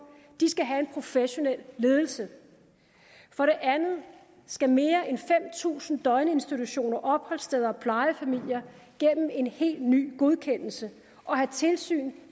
de skal have en professionel ledelse for det andet skal mere end fem tusind døgninstitutioner opholdssteder og plejefamilier gennem en helt ny godkendelse og have tilsyn